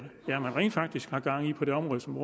rent faktisk er gang i på det område som